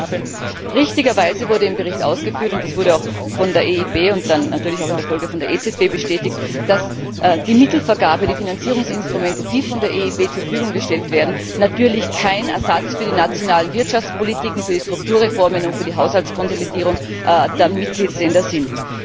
2013. Richtigerweise wurde im Bericht ausgeführt und das wurde auch von der EIB und dann natürlich auch in der Folge von der EZB bestätigt dass die Mittelvergabe, die Finanzierungsinstrumente, die von der EIB zur Verfügung gestellt werden, natürlich kein Ersatz für die nationalen Wirtschaftspolitiken, für die Strukturreformen und für die Haushaltskonsolidierung der Mitgliedstaaten sind.